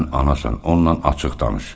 Sən anasan, onunla açıq danış.